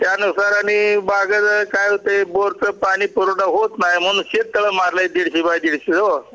त्यानंतर मी बागेत काय होतंय बोर पाणी पुरवठा होत नाही म्हणून शेत तळ मारल दीडशे बाय दीडशे ओ